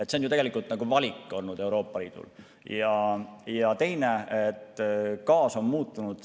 See on ju tegelikult Euroopa Liidu valik olnud.